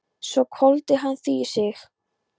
Svo hvolfdi hann því í sig.